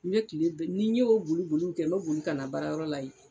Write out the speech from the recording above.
I be kile bɛɛ n'i y'o boli boliw kɛ n be boli ka na baarayɔrɔ la yen